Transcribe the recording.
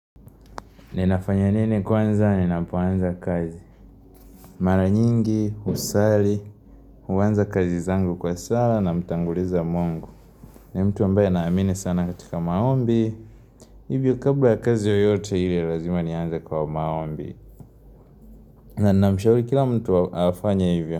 Ninafanya nini kwanza, ninapoanza kazi? Mara nyingi, husali, huanza kazi zangu kwa sala, na mtanguliza mungu. Ni mtu ambaye naamini sana katika maombi. Hivyo, kabla ya kazi yoyote ile, lazima nianze kwa maombi. Na namshauri kila mtu afanye hivyo.